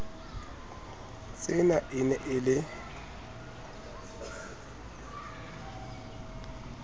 tsena e ne e le